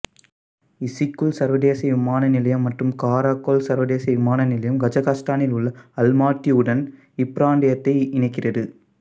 Issyk-Kul சர்வதேச விமான நிலையம் மற்றும் காரகோல் சர்வதேச விமான நிலையம் கஜகஸ்தானில் உள்ள அல்மாட்டியுடன் இப்பிராந்தியத்தை இணைக்கிறது